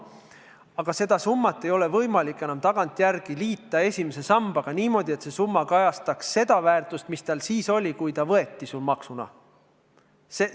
Aga seda summat ei ole võimalik tagantjärele liita esimese sambaga niimoodi, et see summa kajastaks seda väärtust, mis tal oli siis, kui ta maksuna võeti.